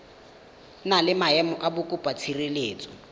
na le maemo a mokopatshireletso